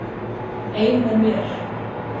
Ein með mér.